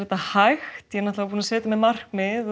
þetta hægt ég var búin að setja mér markmið